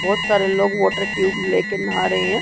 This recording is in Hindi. बोहत सारे लोग वॉटर ट्यूब ले के नहा रहे हैं।